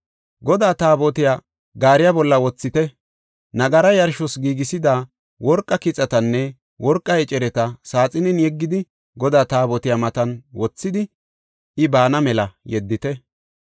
Godaa Taabotiya gaariya bolla wothite; nagara yarshos giigisida worqa kixatanne worqa ecereta saaxinen yeggidi Godaa Taabotiya matan wothidi I baana mela yeddite.